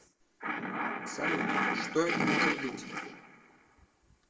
салют что это может быть